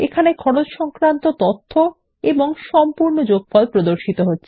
খরচ এর অধীনে তথ্য ও সেইসাথে গ্রান্ডটোটাল প্রদর্শন করা হয়